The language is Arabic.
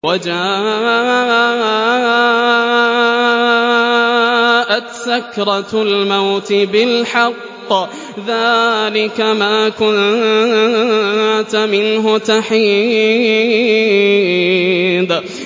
وَجَاءَتْ سَكْرَةُ الْمَوْتِ بِالْحَقِّ ۖ ذَٰلِكَ مَا كُنتَ مِنْهُ تَحِيدُ